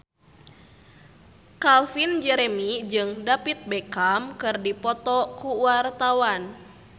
Calvin Jeremy jeung David Beckham keur dipoto ku wartawan